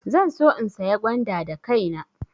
Zan so in saya gwanda da kaina.